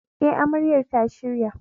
E, Amaryar ta shirya.